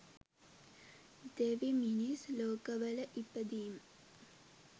දෙවි, මිනිස් ලෝකවල ඉපදීම